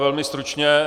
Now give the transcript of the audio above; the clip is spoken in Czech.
Velmi stručně.